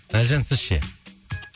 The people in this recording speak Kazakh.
әлжан сіз ше